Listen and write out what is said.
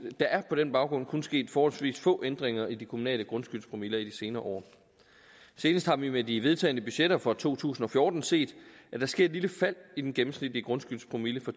er på den baggrund kun sket forholdsvis få ændringer i de kommunale grundskyldspromiller i de senere år senest har vi med de vedtagne budgetter for to tusind og fjorten set at der sker et lille fald i den gennemsnitlige grundskyldpromille fra